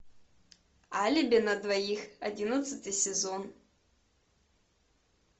алиби на двоих одиннадцатый сезон